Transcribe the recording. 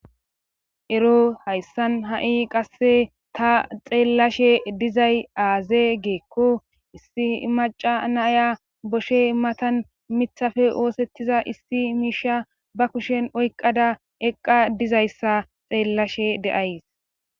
ero hayssan ha7i qasse ta xeellashe dizay aaze geekko issi imaca naya boshe immatan mithafe oosettiza issi miisha ba kushen oyqada eqqa dizayssa xeellashe deays